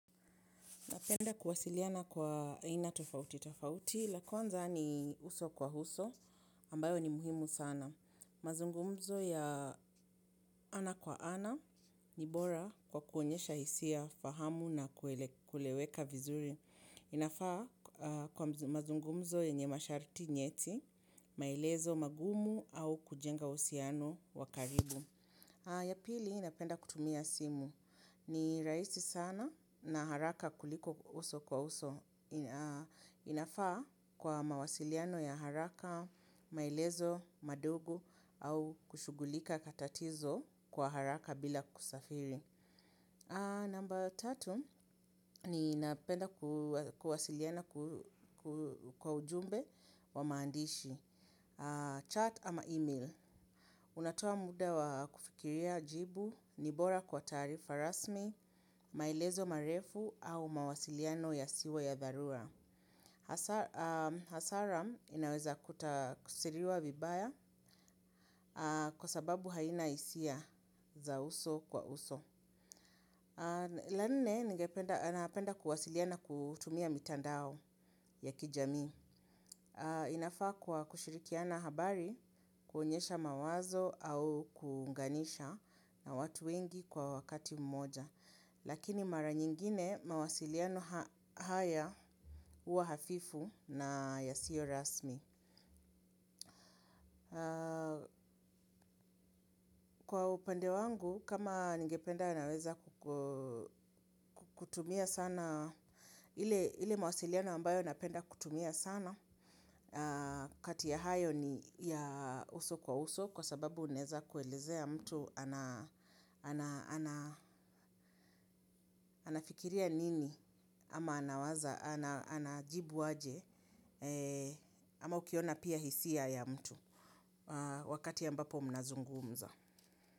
Napenda kuwasiliana kwa aina tofauti, tofauti, la kwanza ni uso kwa uso, ambayo ni muhimu sana. Mazungumzo ya ana kwa ana, ni bora kwa kuonyesha hisia, fahamu na kueleweka vizuri. Inafaa kwa mazungumzo yenye masharti nyeti, maelezo magumu au kujenga uhusiano wa karibu. Ya pili, napenda kutumia simu. Ni rahisi sana na haraka kuliko uso kwa uso. Inafaa kwa mawasiliano ya haraka, maelezo, madogo au kushugulika matatizo kwa haraka bila kusafiri. Namba tatu, ni napenda kuwasiliana kwa ujumbe wa maandishi, chat ama email. Unatoa muda wa kufikiria jibu, ni bora kwa taarifa rasmi, maelezo marefu au mawasiliano yasiwe ya dharura. Hasaram inaweza kuta kusiriwa vibaya kwa sababu haina hisia za uso kwa uso. La nne, ningependa anapenda kuwasiliana kutumia mitandao ya kijamii. Inafaa kwa kushirikiana habari, kuonyesha mawazo au kuunganisha na watu wengi kwa wakati mmoja. Lakini mara nyingine mawasiliano haya uwa hafifu na yasio rasmi. Kwa upande wangu, kama ningependa naweza kutumia sana, ile mawasiliano ambayo napenda kutumia sana, kati ya hayo ni ya uso kwa uso kwa sababu unaeza kuelezea mtu anafikiria nini ama anawaza anajibu aje ama ukiona pia hisia ya mtu wakati ambapo mnazungumza.